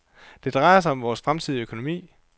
Det drejer sig om vores fremtidige økonomi.